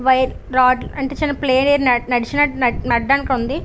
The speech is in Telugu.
వైర్ రాడ్ అంటే చిన్నప్లే ఏరియా నడిచినట్టు నెట్ నడవ డానికి ఉంది.